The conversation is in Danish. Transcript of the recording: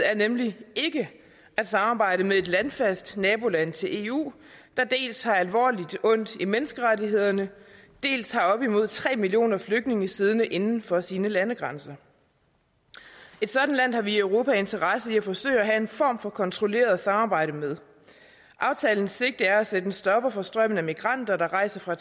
er nemlig ikke at samarbejde med et landfast naboland til eu der dels har alvorligt ondt i menneskerettighederne dels har op imod tre millioner flygtninge siddende inden for sine landegrænser et sådan land har vi i europa interesse i at forsøge at have en form for kontrolleret samarbejde med aftalens sigte er at sætte en stopper for strømmen af migranter der rejser fra